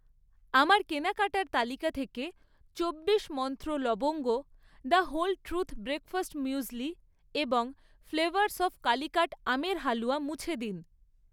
আমার কেনাকাটার তালিকা থেকে চব্বিশ মন্ত্র লবঙ্গ, the whole truth breakfast muesli এবং ফ্লেভারস অফ কালিকাট আমের হালুয়া মুছে দিন।